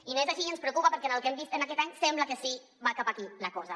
i no és així i ens preocupa perquè pel que hem vist aquest any sembla que sí que va cap aquí la cosa